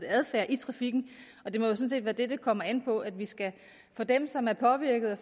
adfærd i trafikken det må sådan set være det det kommer an på altså at vi skal få dem som er påvirket